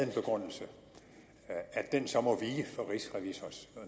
en begrundelse at den så må vige for rigsrevisors